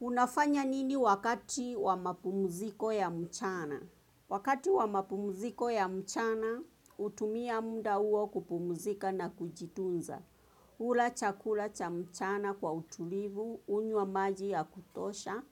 Unafanya nini wakati wa mapumuziko ya mchana? Wakati wa mapumziko ya mchana hutumia muda huo kupumzika na kujitunza. Hula chakula cha mchana kwa utulivu, hunywa maji ya kutosha,